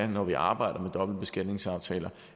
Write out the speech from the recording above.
når vi arbejder med dobbeltbeskatningsaftaler